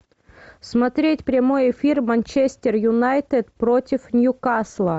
смотреть прямой эфир манчестер юнайтед против ньюкасла